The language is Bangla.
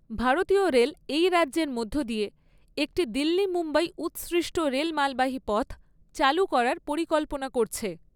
ভারতীয় রেল এই রাজ্যের মধ্য দিয়ে একটি দিল্লি মুম্বাই উৎসৃষ্ট রেল মালবাহী পথ চালু করার পরিকল্পনা করছে।